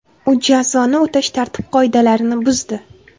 U jazoni o‘tash tartib qoidalarini buzdi.